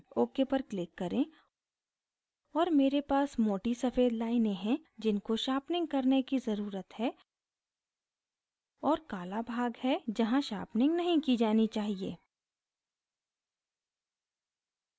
ok पर click करें और मेरे पास मोटी सफ़ेद लाइनें हैं जिनको sharpening करने की ज़रुरत है और काला भाग है जहाँ sharpening नहीं की जानी चाहिए